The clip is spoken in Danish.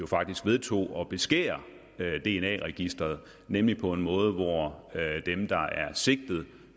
faktisk vedtog at beskære dna registeret nemlig på en måde hvor dem der er sigtet